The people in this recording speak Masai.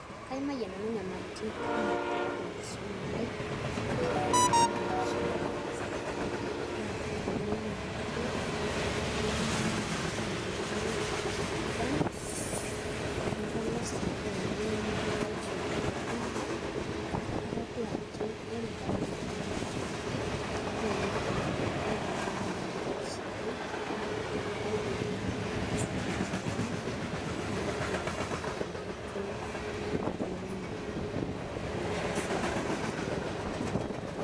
Kaimayie nanu nyamalitin kumok tiatua enkisuma aai a matum apa nanu schoolfees namata nkilani sidan anabkepolosa olenga ana tenkata naado kake ataduo ajo ore paidip nanu enkisuma aai newuo aibelekeny maisha aai aa kaidim nanu ataasaki keon naidim aintoto enkibelekenya eimu esiai onkaik ainei.